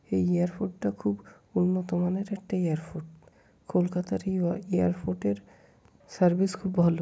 Airport টা খুব উন্নত মানের একটি এয়ারপোর্ট কোলকাতার এই এয়ারপোর্ট -এর সার্ভিস খুব ভালো।